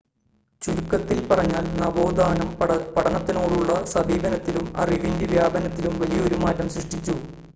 ചുരുക്കത്തിൽ പറഞ്ഞാൽ നവോത്ഥാനം പഠനത്തിനോടുള്ള സമീപനത്തിലും അറിവിൻ്റെ വ്യാപനത്തിലും വലിയൊരു മാറ്റം സൃഷ്ടിച്ചു